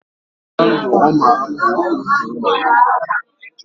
Ogacha ndu, oma hapu otu anyi